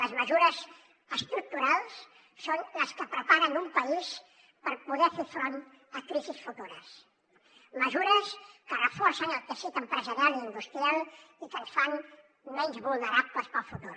les mesures estructurals són les que preparen un país per poder fer front a crisis futures mesures que reforcen el teixit empresarial i industrial i que ens fan menys vulnerables per al futur